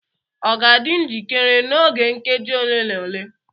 ọ ga-adị njikere n'oge nkeji ole na ole?